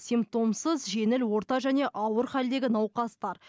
симптомсыз жеңіл орта және ауыр халдегі науқастар